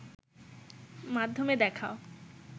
মাধ্যমে দেখাও